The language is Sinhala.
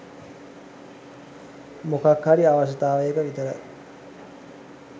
මොකක් හරි අවශ්‍යයතාවයක විතරයි